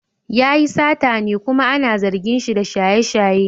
Yayi satane kuma ana zargin shi da shaye-shaye.